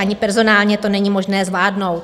Ani personálně to není možné zvládnout.